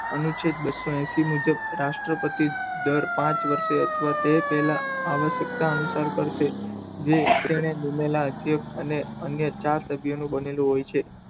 અનુચ્છેદ બસો ને એસી મુજબ રાષ્ટ્રપતિ દ્વારા દર પાંચ વર્ષે અથવા તો તે પહેલા આવશ્યકતા અનુસાર કરે છે જે લાગેલા અને અન્ય ચાર ક્ષેત્ર નું બનેલું હોય છે